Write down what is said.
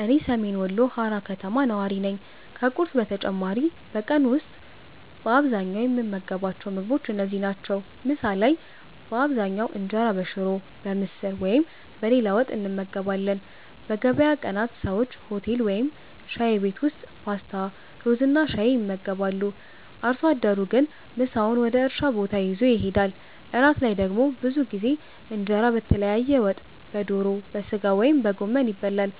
እኔ ሰሜን ወሎ ሃራ ከተማ ነዋሪ ነኝ። ከቁርስ በተጨማሪ በቀን ውስጥ በአብዛኛው የምንመገባቸው ምግቦች እነዚህ ናቸው፦ ምሳ ላይ በአብዛኛው እንጀራ በሽሮ፣ በምስር ወይም በሌላ ወጥ እንመገባለን። በገበያ ቀናት ሰዎች ሆቴል ወይም ሻይ ቤት ውስጥ ፓስታ፣ ሩዝና ሻይ ይመገባሉ። አርሶ አደሩ ግን ምሳውን ወደ እርሻ ቦታ ይዞ ይሄዳል። እራት ላይ ደግሞ ብዙ ጊዜ እንጀራ በተለያየ ወጥ (በዶሮ፣ በሥጋ ወይም በጎመን) ይበላል።